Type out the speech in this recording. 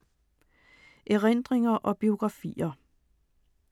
Erindringer og biografier